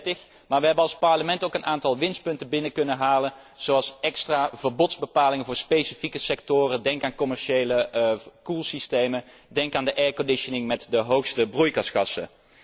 in 2030. Maar we hebben als Parlement ook een aantal winstpunten kunnen behalen zoals extra verbodsbepalingen voor specifieke sectoren, denk aan commerciële koelsystemen, denk aan de airconditioning met de hoogste broeikasgassen.